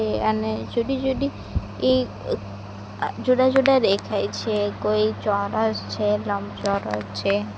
એ અને જુદી જુદી ઇ જુદાજુદા દેખાય છે કોઈ ચોરસ છે લંબચોરસ છે.